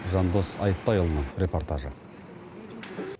жандос айтбайұлының репортажы